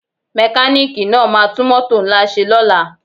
Mekaniki náà ma tún mótò ńlá ṣe lóla